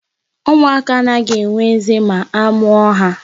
Ụmụaka anaghị enwe eze ma a mụọ ha.